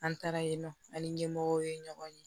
An taara yen nɔ an ni ɲɛmɔgɔw ye ɲɔgɔn ye